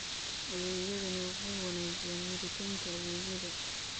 Adeegyadani waxay wanaajiyaan helitaanka adeegyada.